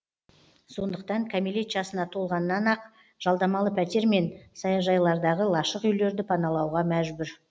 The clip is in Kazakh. сондықтан кәмелет жасына толғаннан ақ жалдамалы пәтер мен саяжайлардағы лашық үйлерді паналауға мәжбүр